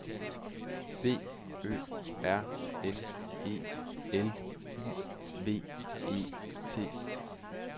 B Ø R N E L I V E T